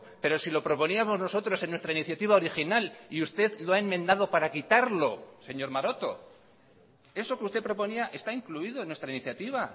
pero si lo proponíamos nosotros en nuestra iniciativa original y usted lo ha enmendado para quitarlo señor maroto eso que usted proponía está incluido en nuestra iniciativa